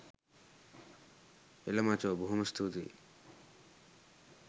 එල මචෝ බොහොම ස්තූතියි